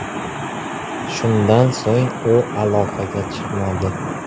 Shundan so‘ng u aloqaga chiqmadi.